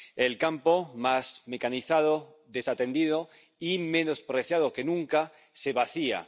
El campo, más mecanizado, desatendido y menospreciado que nunca, se vacía.